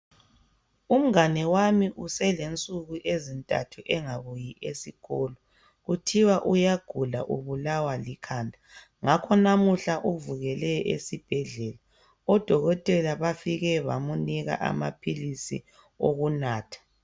Umngane wami uselensuku ezintathu engabuyi esikolo kuthiwa uyagula ubulawa likhanda ngakho namuhla uvukela esibhedlela odokotela bafike bamunika amaphilisi okunatha.